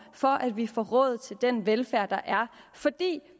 for at vi får råd til den velfærd der er for